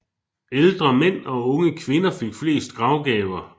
Ældre mænd og unge kvinder fik flest gravgaver